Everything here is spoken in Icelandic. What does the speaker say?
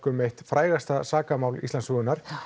um eitt frægasta sakamál Íslandssögunnar